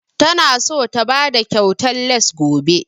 Ta na so ta bada kyautan lace gobe